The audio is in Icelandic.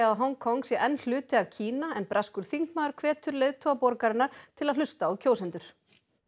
að Hong Kong sé enn hluti af Kína en breskur þingmaður hvetur leiðtoga borgarinnar til að hlusta á kjósendur